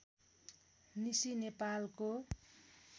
निसी नेपालको